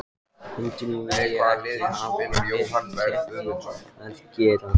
Hundar vilja ekkert hafa með ketti að gera.